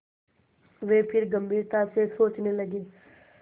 वे फिर गम्भीरता से सोचने लगे